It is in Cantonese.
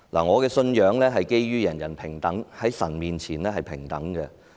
我的信仰是基於在神面前，人人平等。